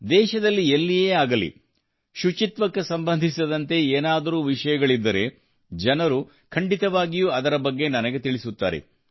ದೇಶದಲ್ಲಿ ಎಲ್ಲಿಯೇ ಆಗಲಿ ಶುಚಿತ್ವಕ್ಕೆ ಸಂಬಂಧಿಸಿದಂತೆ ಏನಾದರೂ ವಿಷಯಗಳಿದ್ದರೆ ಜನರು ಖಂಡಿತವಾಗಿಯೂ ಅದರ ಬಗ್ಗೆ ನನಗೆ ತಿಳಿಸುತ್ತಾರೆ